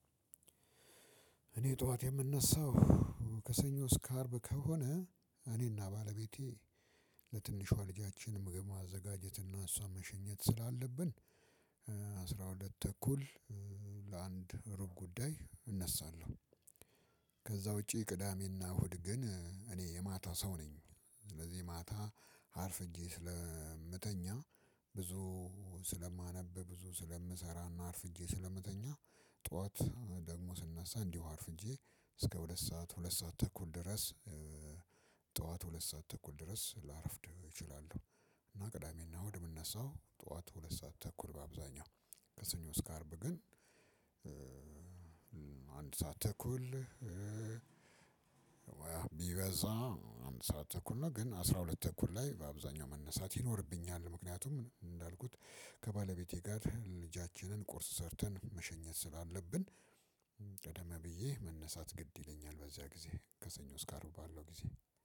እኔ ጠዋት የምነሳው ከሰኞ እስከ አርብ ከሆነ እኔና ባለቤቴ ለትንሿ ልጃችን ምግብ ማዘጋጀት እና እሷ መሸኘት ስላለብን አስራ ሁለት ተኩል ለአንድ ሩብ ጉዳይ እነሳለሁ። ከዛ ውጪ ቅዳሜና እሁድ ግን እኔ የማታ ሰው ነኝ። ስለዚህ ማታ አርፍጄ ስለምተኛ ብዙ ስለማነብ ብዙ ስለምሰራና አርፍጄ ስለምተኛ ጠዋት ደግሞ ስነሳ እንዲሁ አርፍጄ እስከ ሁለት ሰዓት ሁለት ሰዓት ተኩል ድረስ ጠዋት ሁለት ሰዓት ተኩል ድረስ ላረፍድ እችላለሁ። እና ቅዳሜና ወደምነሳው ጠዋት ሁለት ሰዓት ተኩል በአብዛኛው ከሰኞ ስካርብ ግን አንድ ሰዓት ተኩል ወይ አንድ ሰዓት ተኩል ነው። ግን አስራ ሁለት ተኩል ላይ በአብዛኛው መነሳት ይኖርብኛል። ምክንያቱም እንዳልኩት ከባለቤቴ ጋር ልጃችንን ቁርስ ሰርተን መሸኘት ስላለብን ቀደም ብዬ መነሳት ግድ ይለኛል። በዚያ ጊዜ ከሰኞ ስካርብ ባለው ጊዜ